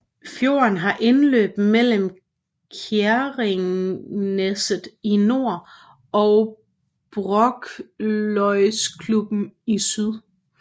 Fjorden har indløb mellem Kjerringneset i nord og Brokløysklubben i syd